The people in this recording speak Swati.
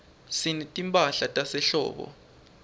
sinetimphahla tasehlobo